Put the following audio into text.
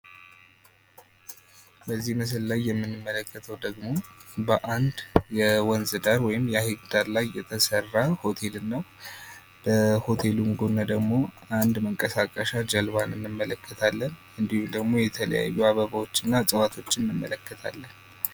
በዚህ ምስል ላይ የምንመለከተው ደግሞ በአንድ የወንዝ ዳር ወይም የሐይቅ ዳር ላይ የተሰራ ሆቴል እና በሆቴሉ ጎን ደግሞ አንድ መንቀሳቀሻ ጅልባን እንመለከታለን እንዲሁም ደግሞ የተለያዩ አበቦችና እጽዋቶችን እንመለከታለን ።